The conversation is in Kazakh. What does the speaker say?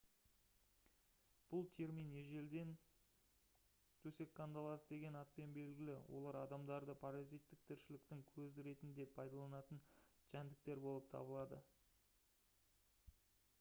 бұл термин ежелден төсек қандаласы деген атпен белгілі олар адамдарды паразиттік тіршіліктің көзі ретінде пайдаланатын жәндіктер болып табылады